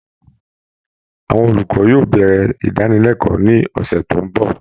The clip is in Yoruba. Àwọn olùkọ́ yóò bẹ̀rẹ̀ ìdánilẹ́kọ̀ọ́ ní ọ̀sẹ̀ tó ń bọ̀